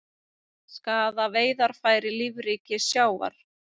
Skaða veiðarfæri lífríki sjávar